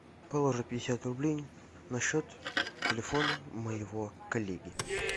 положи пятьдесят рублей на счет телефона моего коллеги